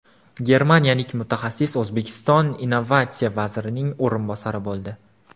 Germaniyalik mutaxassis O‘zbekiston innovatsiya vazirining o‘rinbosari bo‘ldi.